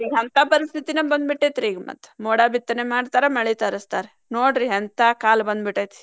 ಹಂತಾ ಪರಿಸ್ಥಿತಿನ ಬಂದ್ ಬಿಟ್ಟೇತ್ರಿ ಈಗ ಮತ್ತ್ ಮೋಡ ಬಿತ್ತನೆ ಮಾಡ್ತಾರ ಮಳಿ ತರಸ್ತಾರ. ನೋಡ್ರಿ ಎಂತಾ ಕಾಲ ಬಂದ್ಬಿಟ್ಟೈತಿ.